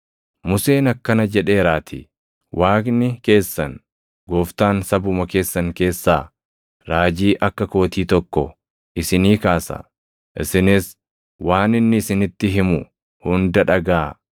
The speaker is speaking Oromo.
Museen akkana jedheeraatii; ‘Waaqni keessan Gooftaan sabuma keessan keessaa raajii akka kootii tokko isinii kaasa; isinis waan inni isinitti himu hunda dhagaʼaa.